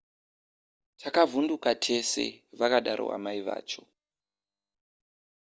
takavhunduka tese vakadaro amai vacho